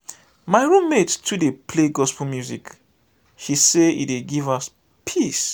my roommate too dey play gospel music she say e dey give her peace.